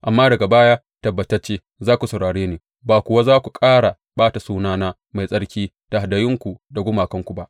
Amma daga baya tabbatacce za ku saurare ni ba kuwa za ku ƙara ɓata sunana mai tsarki da hadayunku da gumakanku ba.